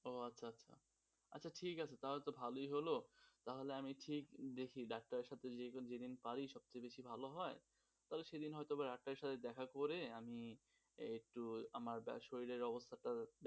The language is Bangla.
ও আচ্ছা আচ্ছা তো ঠিক আছে তাহলে তো ভালোই হল, তাহলে আমি ঠিক দেখি ডাক্তারের সঙ্গে যেদিন পারি সবচেয়েযেদিন ভালো হয় তাহলে সেদিন হয়ত বা ডাক্তারের সঙ্গে দেখা করে আমি, একটুআমার শরীরের যা অবস্থা,